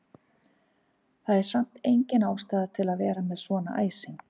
Það er samt engin ástæða til að vera með svona æsing!